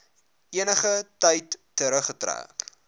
eniger tyd teruggetrek